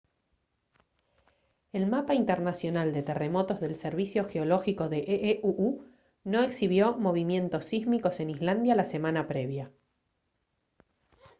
el mapa internacional de terremotos del servicio geológico de ee uu no exhibió movimientos sísmicos en islandia la semana previa